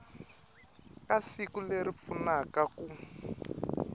ka siku leri pfunaka ku